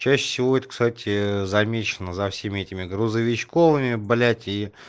чаще всего это кстати замечено за всеми этими грузовичковыми блять и